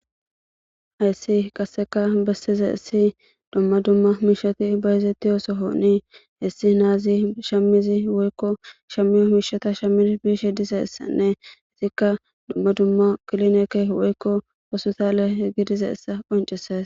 hayssi qasseka bessize issi dumma dumma mishati bayezetti oosohonii hessi naazi shamizi woykko shamiyo miishata shamil biishe dizessanne izikka dumma dumma kilinekke woykko wosotale gidize essa qoncises